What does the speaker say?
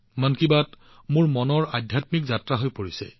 মন কী বাত মোৰ অস্তিত্বৰ এক আধ্যাত্মিক যাত্ৰা হৈ পৰিছে